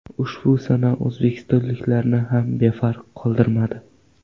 Ushbu sana o‘zbekistonliklarni ham befarq qoldirmadi.